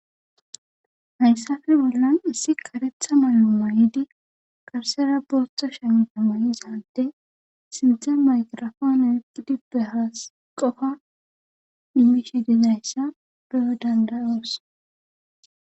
hayssafe bollan issi karetha malu mayidi qarsera booththa shenta may7izadde sinthe mayrafona erqidi behaas qofa dimishi dizayssa beyo dandayoos